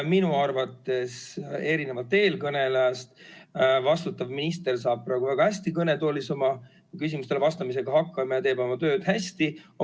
Mina arvan erinevalt eelkõnelejast, et vastutav minister saab praegu väga hästi kõnetoolis küsimustele vastamisega hakkama ja teeb oma tööd hästi.